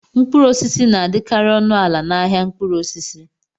Mkpụrụ osisi na-adịkarị ọnụ ala n'ahịa mkpụrụ osisi.